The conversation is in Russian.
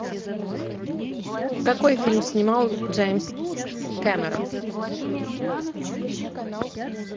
какой фильм снимал джеймс кэмерон